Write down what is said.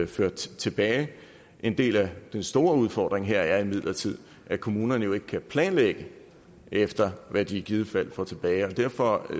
ført tilbage en del af den store udfordring her er imidlertid at kommunerne jo ikke kan planlægge efter hvad de i givet fald får tilbage og derfor